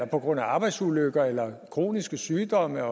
på grund af arbejdsulykker eller kroniske sygdomme